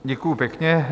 Děkuji pěkně.